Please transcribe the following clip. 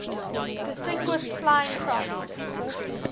distinguished flying cross